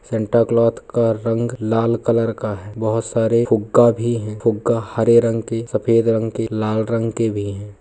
Santa cloth का रंग लाल कलर का है बहुत सारे फुग्गा भी हैं फुग्गा हरे रंग के सफ़ेद रंग के लाल रंग के भी हैं।